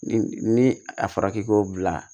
Ni ni a fɔra k'i k'o bila